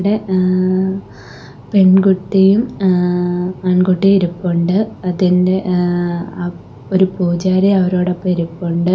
ഇവിടെ ആ പെൺകുട്ടിയും ആ ആൺകുട്ടിയും ഇരിപ്പുണ്ട് അതിന്റെ ആ അപ് ഒരു പൂജാരി അവരോടൊപ്പം ഇരിപ്പുണ്ട്.